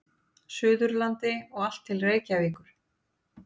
Suðurlandi og allt til Reykjavíkur.